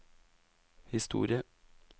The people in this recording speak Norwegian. historie